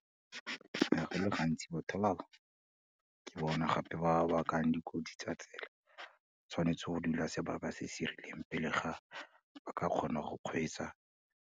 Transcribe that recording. Go le gantsi botho ba o, ke bona gape bakang dikotsi tsa tsela, tshwanetse go dula sebaka se se rileng pele ga ba ka kgona go kgweetsa